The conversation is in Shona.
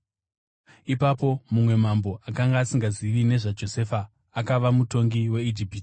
Ipapo mumwe mambo, akanga asingazivi nezvaJosefa, akava mutongi weIjipiti.